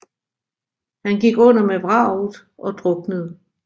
Han gik under med vraget og druknede